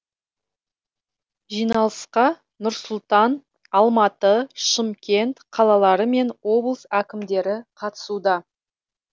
жиналысқа нұр сұлтан алматы шымкент қалалары мен облыс әкімдері қатысуда